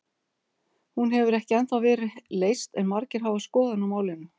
Hún hefur ekki ennþá verið leyst en margir hafa skoðun á málinu.